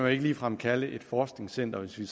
ikke ligefrem kalde et forskningscenter hvis vi